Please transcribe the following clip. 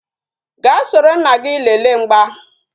Gaa soro nna gị lele mgba